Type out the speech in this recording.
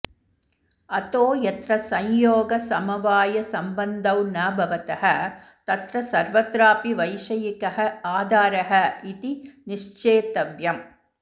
अतो यत्र संयोगसमवायसम्बन्धौ न भवतः तत्र सर्वत्रापि वैषयिकः आधारः इति निश्चेतव्यम्